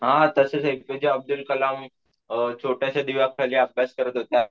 हा तसही एपीजे अब्दुल कलाम अम छोट्याशा दिव्याखाली अभ्यास करत होता.